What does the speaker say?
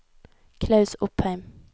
Klaus Opheim